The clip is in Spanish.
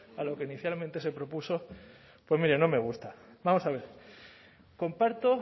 a lo que inicialmente se propuso pues mire no me gusta vamos a ver comparto